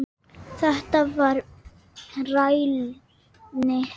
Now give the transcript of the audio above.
Þetta var rælni.